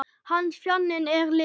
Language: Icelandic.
Hans þjáning er liðin.